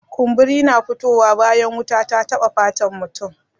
Kumburi na fito wa bayan wuta ta taba fatan mutum.